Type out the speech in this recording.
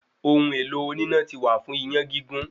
Ohun èlò oníná ti wà fún iyán gígún